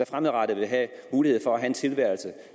fremadrettet vil have mulighed for at have en tilværelse